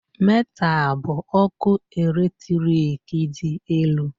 Metal bụ ọkụ eletrik dị elu